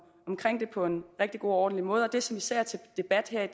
omkring dem på en rigtig god og ordentlig måde det som især er til debat her i